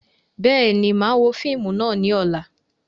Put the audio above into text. Bẹ́ẹ̀ni, máa wo fíìmù náà ni ọ̀la